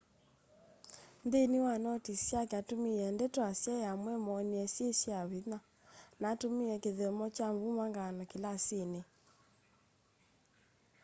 nthini wa notis syake atumiie ndeto asyai amwe moonie syi sya vinya na atumia kithyomo kya mbumangano kilasini